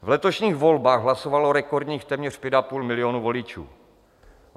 V letošních volbách hlasovalo rekordních téměř pět a půl milionu voličů.